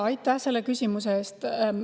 Aitäh selle küsimuse eest!